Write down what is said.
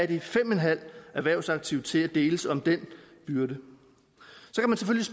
de fem og en halv erhvervsaktive til at deles om den byrde